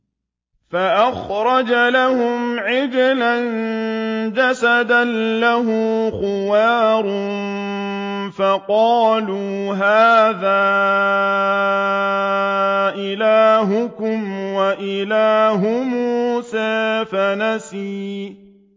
فَأَخْرَجَ لَهُمْ عِجْلًا جَسَدًا لَّهُ خُوَارٌ فَقَالُوا هَٰذَا إِلَٰهُكُمْ وَإِلَٰهُ مُوسَىٰ فَنَسِيَ